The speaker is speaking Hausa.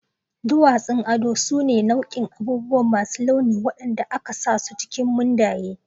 Duwatsun ado su ne nau'ikan abubuwa masu launi waɗanda aka sa su cikin mundaye.